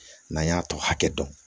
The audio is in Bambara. N'an y'a tɔ hakɛ dɔn